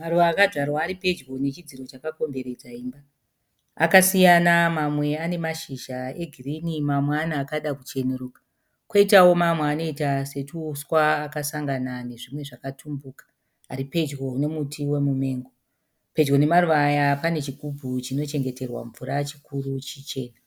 Maruva akadyara pedyo nechidziro chakakomberedza imba. Akasiyana mamwe ane mashizha e girini mamwe ane akacheneruka koitawo mamwe anoita sotuuswa akasangana nezvinhu zvakatumbuka ari pedyo nemuti wemumengo. Pedyo nemaruva aya pane chigumbu chinochengeterwa mvura chikuru chichena.